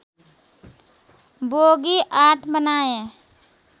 bogie ८ बनाए